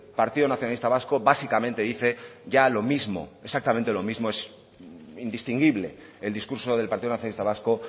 partido nacionalista vasco básicamente dice ya lo mismo exactamente lo mismo es indistinguible el discurso del partido nacionalista vasco